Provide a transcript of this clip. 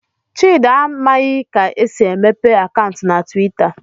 Chidi amaghị ka esi emepee akaụntụ na Twitter